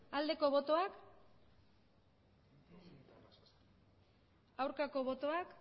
aldeko botoak aurkako botoak